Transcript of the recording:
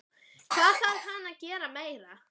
Hvað þarf hann að gera meira?